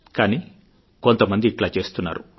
కానీ కొంతమంది ఇట్లా చేస్తున్నారు